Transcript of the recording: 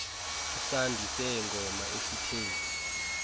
isandi seengoma esithe